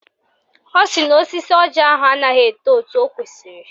Ọ sị na osisi ọjị ahụ anaghị eto etu o kwesiri